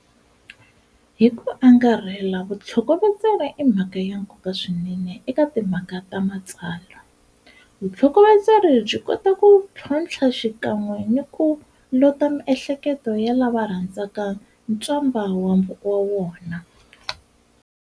Hiku angarhela, vutlhokovetseri i mhaka ya nkoka swinene eka timhaka ta matsalwa. Vultlhokovetseri byi kota ku tlhontlha xikanwe ni ku lota miehleketo ya lava rhandzaku ntswamba wa wona.